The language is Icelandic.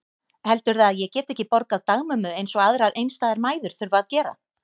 Heldurðu að ég geti ekki borgað dagmömmu eins og aðrar einstæðar mæður þurfa að gera?